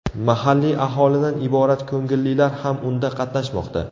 Mahalliy aholidan iborat ko‘ngillilar ham unda qatnashmoqda.